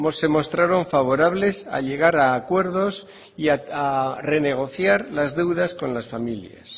se mostraron favorables a llegar a acuerdos y a renegociar las deudas con las familias